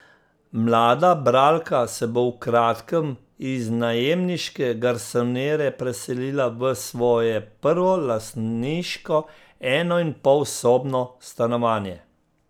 Mlada bralka se bo v kratkem iz najemniške garsonjere preselila v svoje prvo lastniško enoinpolsobno stanovanje.